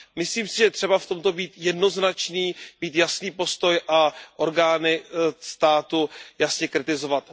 Myslím si, že je třeba v tomto být jednoznačný, mít jasný postoj a orgány státu jasně kritizovat.